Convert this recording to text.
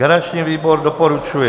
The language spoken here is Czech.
Garanční výbor doporučuje